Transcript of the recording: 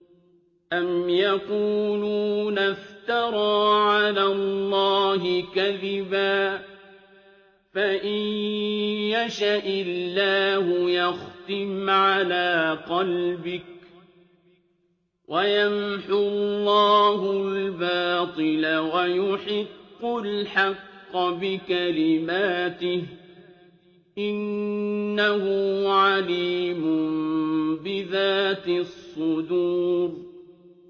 أَمْ يَقُولُونَ افْتَرَىٰ عَلَى اللَّهِ كَذِبًا ۖ فَإِن يَشَإِ اللَّهُ يَخْتِمْ عَلَىٰ قَلْبِكَ ۗ وَيَمْحُ اللَّهُ الْبَاطِلَ وَيُحِقُّ الْحَقَّ بِكَلِمَاتِهِ ۚ إِنَّهُ عَلِيمٌ بِذَاتِ الصُّدُورِ